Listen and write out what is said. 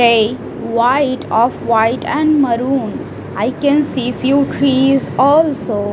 white of white and maroon I can see few trees also .